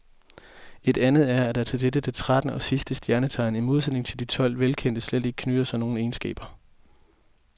Et andet er, at der til dette det trettende og sidste stjernetegn, i modsætning til de tolv velkendte, slet ikke knytter sig nogen egenskaber.